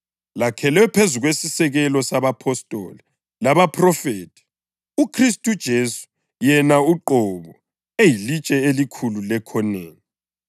lakhelwe phezu kwesisekelo sabapostoli labaphrofethi, uKhristu uJesu yena uqobo eyilitshe elikhulu lekhoneni.